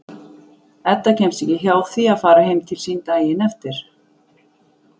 Edda kemst ekki hjá því að fara heim til sín daginn eftir.